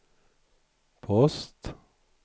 post